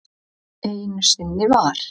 Einu sinni var.